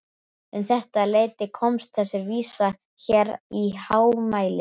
Um þetta leyti komst þessi vísa hér í hámæli